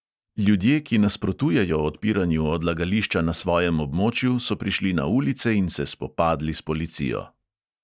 Ljudje, ki nasprotujejo odpiranju odlagališča na svojem območju, so prišli na ulice in se spopadli s policijo.